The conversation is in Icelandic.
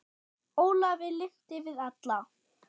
Ólafi lynti við alla